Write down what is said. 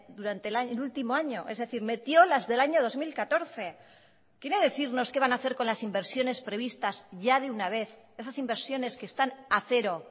durante el último año es decir metió las del año dos mil catorce quiere decirnos qué van a hacer con las inversiones previstas ya de una vez esas inversiones que están a cero